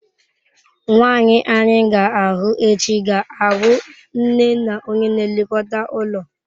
Nwanyị anyị ga-ahụ echi ga-abụ nne na onye na-elekọta ụlọ.